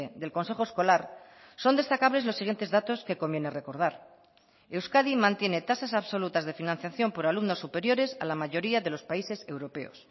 del consejo escolar son destacables los siguientes datos que conviene recordar euskadi mantiene tasas absolutas de financiación por alumnos superiores a la mayoría de los países europeos